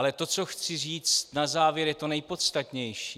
Ale to, co chci říct na závěr, je to nejpodstatnější.